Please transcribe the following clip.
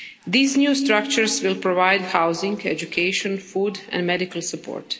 These new structures will provide housing, education, food and medical support.